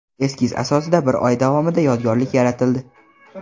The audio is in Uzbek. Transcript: Eskiz asosida bir oy davomida yodgorlik yaratildi.